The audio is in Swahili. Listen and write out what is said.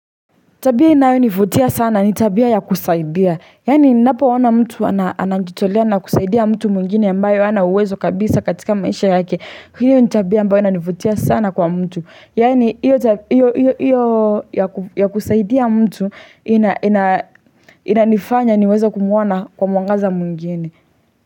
Tabia inayonivutia sana, ni tabia ya kusaidia. Yaani ninapoona mtu anajitolea na kusaidia mtu mwingine ambayo hana uwezo kabisa katika maisha yake. Hio ni tabia ambayo inanivutia sana kwa mtu. Yaani iyo ya kusaidia mtu inanifanya niweze kumuona kwa mwangaza mwingine.